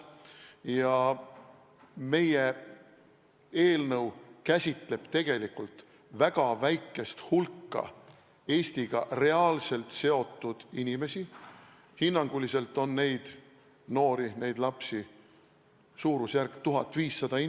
Ja meie eelnõu käsitleb tegelikult väga väikest hulka Eestiga reaalselt seotud inimesi, hinnanguliselt on neid noori, neid lapsi umbes 1500.